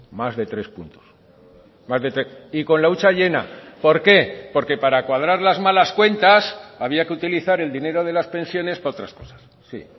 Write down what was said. más de tres puntos y con la hucha llena por qué porque para cuadrar las malas cuentas había que utilizar el dinero de las pensiones para otras cosas sí